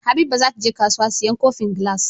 Habiba zata je kasuwa siyan kofin glass